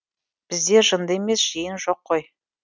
бізде жынды емес жиен жоқ қой